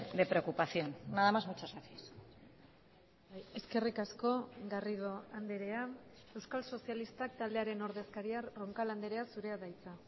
de preocupación nada más muchas gracias eskerrik asko garrido andrea euskal sozialistak taldearen ordezkaria roncal andrea zurea da hitza